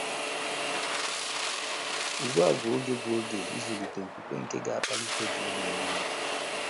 Ugbu a bụ oge bụ oge ịzụlite okwukwe nke ga - akpali gị ime ihe.